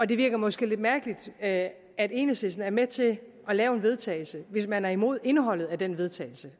det virker måske lidt mærkeligt at at enhedslisten er med til at lave en vedtagelse hvis man oprindelig er imod indholdet af den vedtagelse